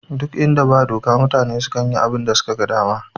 Ɗuk inda ba doka mutane sukan yi abunda suka ga dama